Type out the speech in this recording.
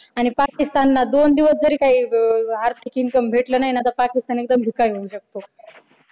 आणि पाकिस्तानला दोन दिवस जरी काही तरी आर्थिक income भेटलं नाही ना तरी तर पाकिस्तान एकदम भिकारी होऊ शकतो.